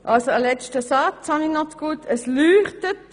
Ich habe noch einen letzten Satz zu Gute, das Lämpchen blinkt.